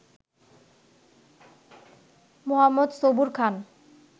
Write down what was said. মো. Sabur খান